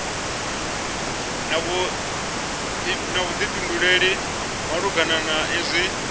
na vhuḓifhinduleli malugana na izwi